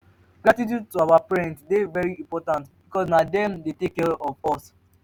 gratitude to our parents de very important because na dem de take care of us